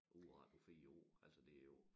Udrette på 4 år altså det jo